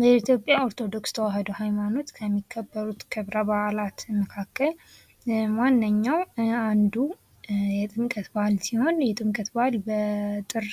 በኢትዮጵያ ኦርቶዶክስ ተዋህዶ ሃይማኖት ከሚከበሩት ክብረ በዓላት መካከል ዋነኛው አንዱ የጥምቀት በዓል ሲሆን የጥምቀት በዓል በጥር